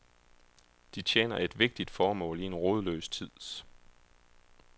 De tjener et vigtigt formål i en rodløs tid.